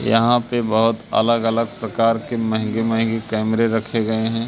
यहां पे बहोत अलग-अलग प्रकार के महंगे-महंगे कैमरे रखे गए है।